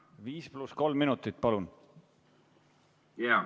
5 + 3 minutit, palun!